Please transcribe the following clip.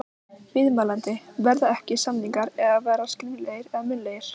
Kannski var eitthvað að hjá Halla